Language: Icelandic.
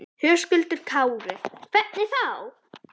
Höskuldur Kári: Hvernig þá?